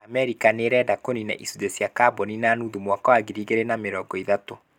Amerika nĩ ĩrenda kũniina icunjĩ cia kaboni na nuthu mwaka wa 2030.